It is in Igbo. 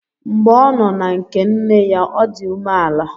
Mgbe ọ nọ na nke nne ya, o di umeala